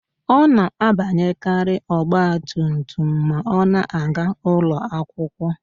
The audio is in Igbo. Ọ na-abanyekarị ọgbatumtum ma ọ na-aga ụlọakwụkwọ